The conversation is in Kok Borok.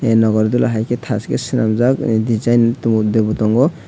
aah nagor dula hai ke taske swnamjak design debo tongo.